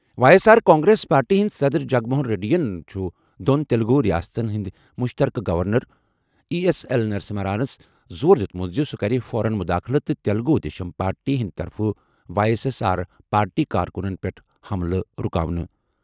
وایی S R Congress Party ہٕنٛدۍ صدر جگن موہن ریڈی یَن چھُ دۄن تیلگو ریاستَن ہٕنٛدۍ مُشترکہٕ گورنر، ای ایس ایل نرسمہانَس زور دِیُت زِ سُہ کرِ فوراً مداخلت تہٕ تیلگو دیشم پارٹی ہٕنٛدِ طرفہٕ وایی ایس آر پارٹی کارکُنَن پٮ۪ٹھ حملہٕ رُکاونہٕ۔